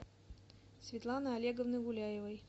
светланы олеговны гуляевой